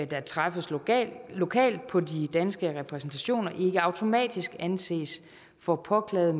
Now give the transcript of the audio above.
der træffes lokalt lokalt på de danske repræsentationer ikke automatisk anses for påklaget